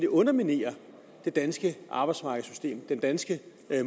underminere det danske arbejdsmarkedssystem og den danske